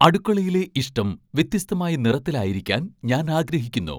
അടുക്കളയിലെ ഇഷ്ടം വ്യത്യസ്തമായ നിറത്തിലായിരിക്കാൻ ഞാൻ ആഗ്രഹിക്കുന്നു